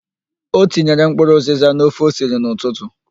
O tinyere mkpụrụ ụzịza n'ofe o siri n'ụtụtụ.